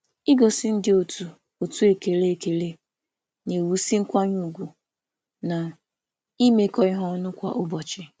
Ịgosipụta ekele nye ndị otu na-ewusi nkwanye ùgwù n’otu n’otu na mmekọrịta kwa ụbọchị.